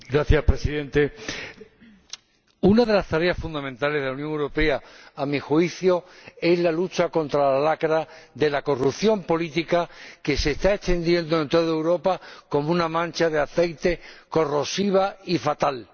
Señor Presidente, una de las tareas fundamentales de la Unión Europea, a mi juicio, es la lucha contra la lacra de la corrupción política que se está extendiendo en toda Europa como una mancha de aceite corrosiva y fatal.